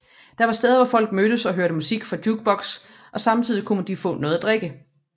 Det var steder hvor folk mødes og hørte musik fra jukebokse og samtidig kunne de få noget at drikke